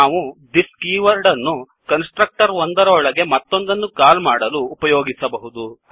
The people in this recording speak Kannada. ನಾವು thisದಿಸ್ ಕೀವರ್ಡ್ ಅನ್ನು ಕನ್ಸ್ ಟ್ರಕ್ಟರ್ ಒಂದರ ಒಳಗೆ ಮತ್ತೊಂದನ್ನು ಕಾಲ್ ಮಾಡಲು ಉಪಯೋಗಿಸಬಹುದು